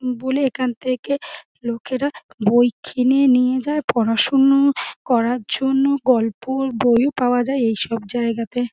বলি এখান থেকে লোকেরা বই কিনে নিয়ে যায় পড়াশুনো করার জন্য গল্পর বইও পাওয়া যায় এই সব জায়গাতে।